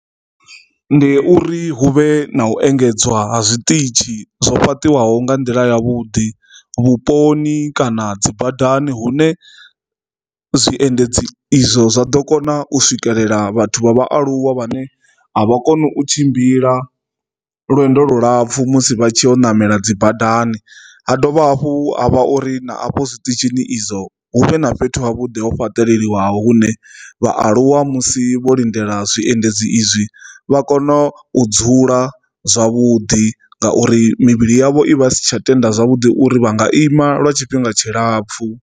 Ndi uri hu vhe na u engedzwa ha zwiṱitshi zwo fheṱiwaho nga nḓila yavhuḓi vhuponi kana dzi badani hune zwiendedzi izwo zwa ḓo kona u swikelela vhathu vha vhaaluwa vhane a vha koni u tshimbila lwendo lulapfhu musi vha tshi u namela dzi badani, ha dovha hafhu ha vha uri na afho zwiṱitshini izwo hu vhe na fhethu ha vhuḓi ho fhaṱeleliwa hune vhaaluwa si vho lindela zwiendedzi izwi vha kone u dzula zwavhuḓi ngauri mivhili yavho i vha si tsha tenda zwavhuḓi uri vha nga ima lwa tshifhinga tshilapfhu.